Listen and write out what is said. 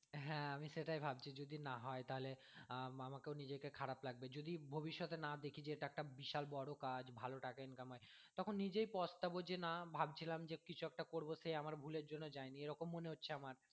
হ্যাঁ আমি সেটাই ভাবছি যদি না হয় তাহলে আহ আমাকেও নিজেকে খারাপ লাগবে যদি ভবিষ্যৎে না দেখি যে একটা বিশাল বড় কাজ ভালো টাকা income হয় তখন নিজেই পচতাবো যে না ভাবছিলাম যে কিছু একটা করবো সেই আমার ভুলের জন্য যাইনি এরকম মনে হচ্ছে আমার।